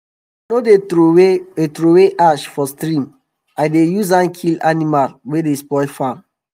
i no dey trowey dey trowey ash for stream i dey use am kill animal wey dey spoil farm